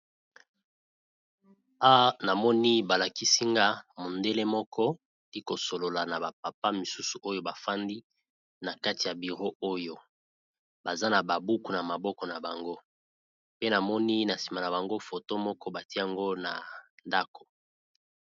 A namoni, balakisi nga mondele moko a kosolola na bapapa misusu oyo bafandi na kati ya biro oyo. Baza na babuku na maboko na bango. Pe namoni, na nsima na bango foto moko batie yango na ndako.